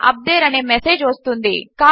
UP తేరే అనే message వస్తుంది